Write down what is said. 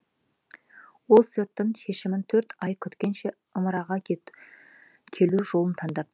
ол соттың шешімін төрт ай күткенше ымыраға келу жолын таңдап